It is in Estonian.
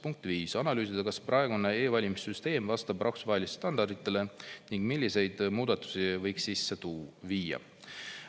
Punkt 5, analüüsida, kas praegune e-valimiste süsteem vastab rahvusvahelistele standarditele ning milliseid muudatusi võiks sisse viia.